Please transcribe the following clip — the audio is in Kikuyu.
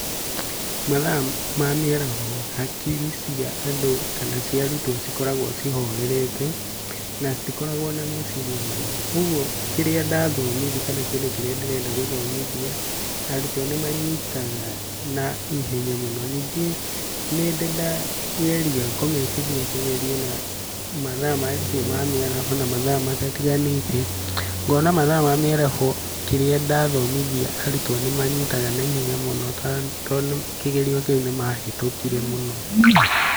Mathaa ma mĩaraho hakiri cia andũ kana cia arutwo cikoragwo cihorerete na citikoragwo na meciria maingĩ, ũguo kĩrĩa ndathomithia kana kĩndũ kĩrĩa ndĩrenda gũthomithia, arutwo nĩ manyitaga naihenya mũno, ningĩ nĩndĩ ndageria kũmekithia kĩgerio na mathaa macio ma mĩaraho na mathaa matatiganĩte, ngona mathaa ma mĩaraho kĩrĩa ndathomithia arutwo nĩmanyitaga naihenya mũno to kĩgerio kĩu nĩmahĩtũkire mũno.